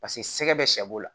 Paseke sɛgɛ bɛ sɛ b'o la